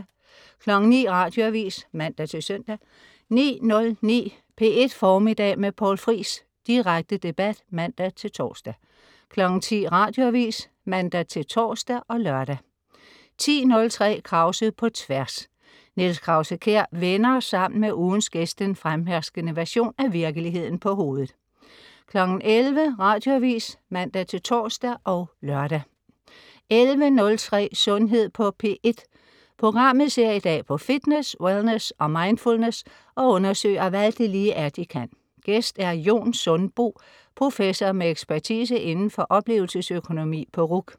09.00 Radioavis (man-søn) 09.09 P1 Formiddag med Poul Friis. Direkte debat (man-tors) 10.00 Radioavis (man-tors og lør) 10.03 Krause på Tværs. Niels Krause-Kjær vender sammen med ugens gæst den fremherskende version af virkeligheden på hovedet 11.00 Radioavis (man-tors og lør) 11.03 Sundhed på P1. Programmet ser i dag på fitness, wellness og mindfullness og undersøger, hvad det lige er, de kan. Gæst er Jon Sundbo, professor med ekspertise indenfor oplevelsesøkonomi på RUC